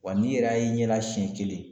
Wa n'i yɛrɛ y'a y'i ɲɛl a siɲɛ kelen